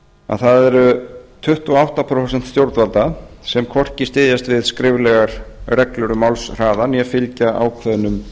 að það eru tuttugu og átta prósent stjórnvalda sem hvorki styðjast við skriflegar reglur um málshraða né fylgja ákveðnum